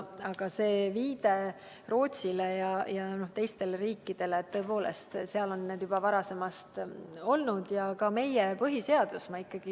Aga viide Rootsile ja teistele riikidele – tõepoolest, seal on need juba varasemast olnud.